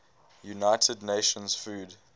united nations food